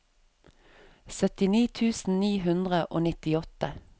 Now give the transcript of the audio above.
syttini tusen ni hundre og nittiåtte